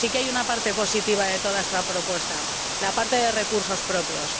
Pero sí que hay una parte positiva en toda esta propuesta la parte de recursos propios.